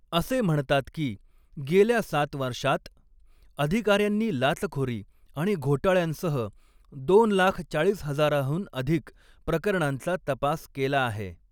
असे म्हणतात की, गेल्या सात वर्षांत अधिकाऱ्यांनी लाचखोरी आणि घोटाळ्यांसह दोन लाख चाळीस हजाराहून अधिक प्रकरणांचा तपास केला आहे.